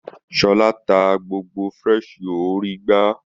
Sola ta gbogbo fresh yo orí igbá.